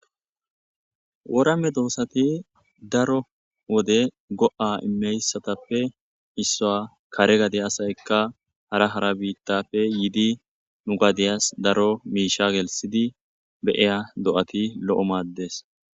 Wora medosati daro wode go'aa imiyisatappe isuwa kaare gade asayikka hara hara bitappe yidi nuu gadiyasi daro mishsha geliththidi be'iya do'ati lo'o maades.